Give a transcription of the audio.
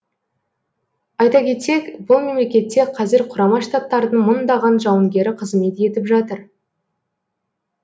айта кетсек бұл мемлекетте қазір құрама штаттардың мыңдаған жауынгері қызмет етіп жатыр